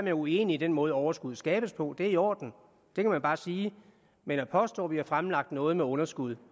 er uenig i den måde overskuddet skabes på det er i orden det kan man bare sige men at påstå at vi har fremlagt noget med underskud